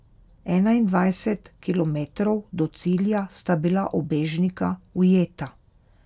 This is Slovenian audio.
Enaindvajset kilometrov do cilja sta bila ubežnika ujeta.